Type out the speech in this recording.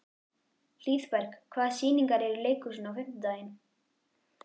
Hlíðberg, hvaða sýningar eru í leikhúsinu á fimmtudaginn?